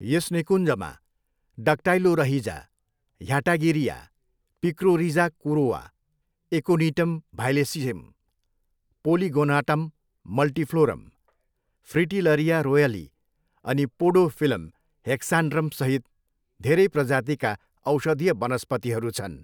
यस निकुञ्जमा डक्टाइलोरहिजा ह्याटागिरिया, पिक्रोरिजा कुरोआ, एकोनिटम भाइलेसियम, पोलिगोनाटम मल्टिफ्लोरम, फ्रिटिलरिया रोयली अनि पोडोफिलम हेक्सान्ड्रमसहित धेरै प्रजातिका औषधीय वनस्पतिहरू छन्।